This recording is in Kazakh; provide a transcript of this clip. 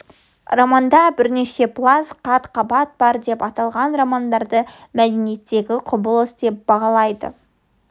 романда бірнеше пласт қат-қабат бар деп аталған романды мәдениеттегі құбылыс деп бағалайды